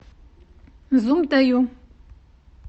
зуб даю